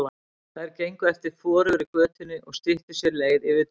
Þær gengu eftir forugri götunni og styttu sér leið yfir túnið.